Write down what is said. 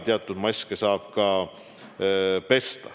Teatud maske saab ka pesta.